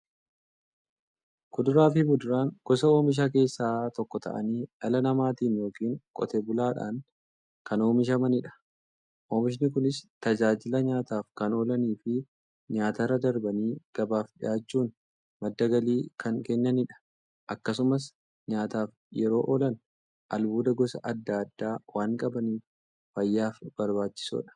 Kuduraafi muduraan gosa oomishaa keessaa tokko ta'anii, dhala namaatin yookiin Qotee bulaadhan kan oomishamaniidha. Oomishni Kunis, tajaajila nyaataf kan oolaniifi nyaatarra darbanii gabaaf dhiyaachuun madda galii kan kennaniidha. Akkasumas nyaataf yeroo oolan, albuuda gosa adda addaa waan qabaniif, fayyaaf barbaachisoodha.